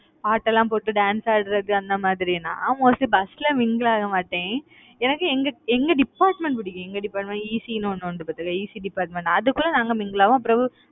பாட்டெல்லாம் போட்டு dance ஆடுறது அந்த மாதிரி நான் mostly bus ல mingle ஆக மாட்டேன். எனக்கு எங்க எங்க department பிடிக்கும் எங்க departmentECE ன்னு ஒண்ணு உண்டு பாத்தியா ECEdepartment அதுக்குள்ள நாங்க mingle ஆவோம், பிறகு